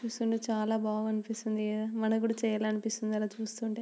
చూస్తుంటే చాలా బాగా అనిపిస్తుంది. మనకి కూడా చెయ్యాలనిపిస్తుంది ఇలా చూస్తుంటే.